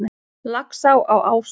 Laxá á Ásum